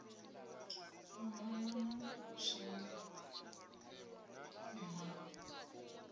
u mama na zwino mmawe